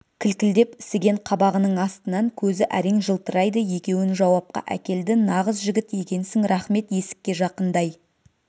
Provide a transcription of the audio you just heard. кілкілдеп ісіген қабағының астынан көзі әрең жылтырайды екеуін жауапқа әкелді нағыз жігіт екенсің рақмет есікке жақындай